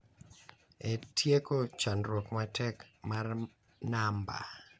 E tieko chandruok matek mar namba,